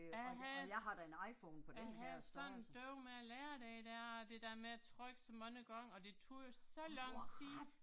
Jeg havde, jeg havde sådan bøvl med at lære det der, det der med at trykke så mange gange, og det tog jo så lang tid